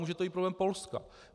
Může to být problém Polska.